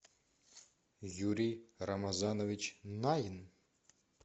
юрий рамазанович найн